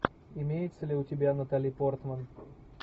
имеется ли у тебя натали портман